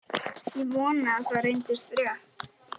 Ég vonaði að það reyndist rétt.